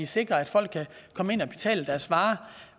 sikre at folk kan komme ind og betale deres varer